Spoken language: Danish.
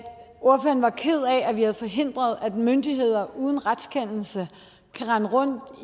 at vi har forhindret at myndigheder uden retskendelse kan rende rundt